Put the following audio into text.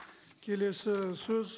келесі сөз